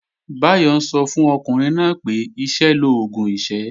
Báyọ̀ ń sọ fún ọkùnrin náà pé "iṣẹ́ l'oògùn ìṣẹ́"